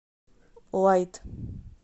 лайт